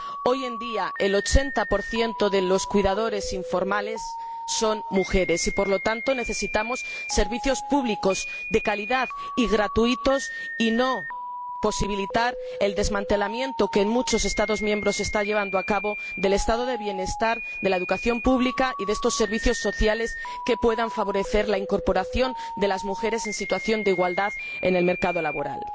Hoy en día, el 80 de los cuidadores informales son mujeres y, por lo tanto, necesitamos servicios públicos de calidad y gratuitos y no hemos de posibilitar el desmantelamiento que en muchos Estados miembros se está llevando a cabo del Estado de bienestar, de la educación pública y de estos servicios sociales que pueden favorecer la incorporación de las mujeres en situación de igualdad al mercado laboral.